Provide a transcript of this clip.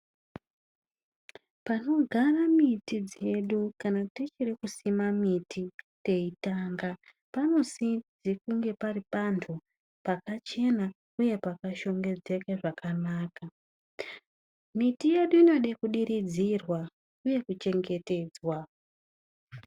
Panogara miti dzedu kana tichiri kusima miti teyitanga, panosise kunge pari pantu pakachena uye pakashongedzeka zvakanaka. Miti yedu inode kudiridzirwa uye kuchengetedzwa.